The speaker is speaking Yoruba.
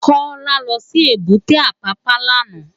Kola lò si ébùté Apapa làná